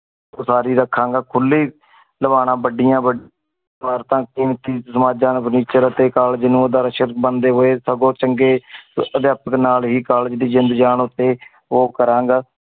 ਊ ਸਾਰੀ ਰਾਖਾ ਗਾ ਖੁਲੀ ਦਵਾਰਾ ਬਢਿਯਾ ਵਡ ਇਮਾਰਤਾਂ ਕੀਮਤੀ ਸਮਾਜਾ furniture ਅਤੇ ਕਾਲੇਜ ਨੂੰ ਬਣਦੇ ਹੋਏ ਸਗੋ ਚੰਗੇ ਦਿਆਪਾਤ ਨਾਲ ਹੀ college ਦੀ ਜਿੰਦ ਜਾਨ ਓਤੇ ਊ ਕਰਾਂਗਾ।